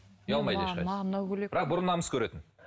ұялмайды ешқайсысы бірақ бұрын намыс көретін